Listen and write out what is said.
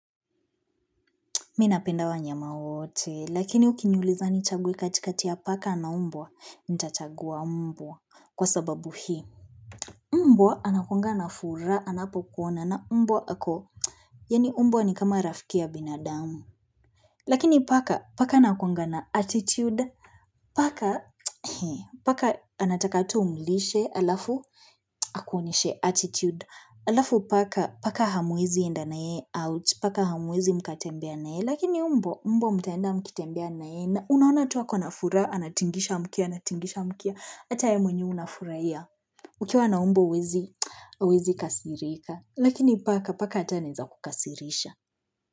Mi napenda wanyama wote, lakini ukiniuliza nichague kati kati ya paka na mbwa, nitachagua mbwa, kwa sababu hii mbwa anakuanga na furaha, anapokuona na mbwa ako Yaani mbwa ni kama rafiki ya binadamu. Lakini paka, paka anakuangana attitude. Paka, paka anataka tu umlishe alafu, akuonyeshe attitude. Alafu paka paka hamuezi enda na yeye out paka hamuezi mkatembea na yeye lakini mbwa mbwa mtaenda mkitembea na yeye na unaona tu ako na furaha anatingisha mkia, anatingisha mkia ata wewe mwenyewe unafurahia ukiwa na mbwa huwezi, huwezi kasirika lakini paka paka ata anaeza kukasirisha.